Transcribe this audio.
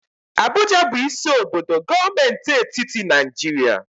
Abuja bụ isi obodo gọọmenti etiti Naịjirịa.